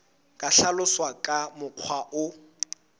ka hlaloswa ka mokgwa o